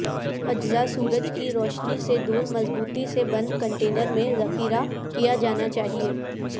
اجزاء سورج کی روشنی سے دور مضبوطی سے بند کنٹینر میں ذخیرہ کیا جانا چاہئے